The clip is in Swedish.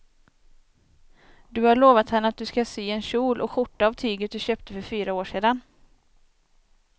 Du har lovat henne att du ska sy en kjol och skjorta av tyget du köpte för fyra år sedan.